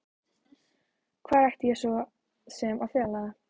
Hvar ætti ég svo sem að fela það?